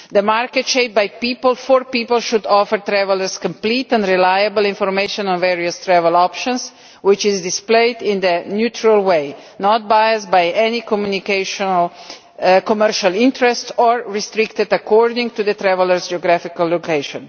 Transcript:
The market shaped by people for people should offer travellers complete and reliable information on various travel options which is displayed in a neutral way, not biased by any communication or commercial interest or restricted according to the traveller's geographical location.